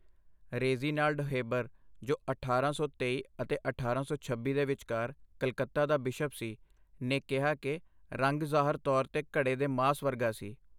Reginald Heber, ਜੋ ਅਠਾਰਾਂ ਸੌ ਤੇਈ ਅਤੇ ਅਠਾਰਾਂ ਸੌ ਛੱਬੀ ਦੇ ਵਿਚਕਾਰ ਕਲਕੱਤਾ ਦਾ ਬਿਸ਼ਪ ਸੀ, ਨੇ ਕਿਹਾ ਕਿ ਰੰਗ ਜ਼ਾਹਰ ਤੌਰ 'ਤੇ ਘੜੇ ਦੇ ਮਾਸ ਵਰਗਾ ਸੀ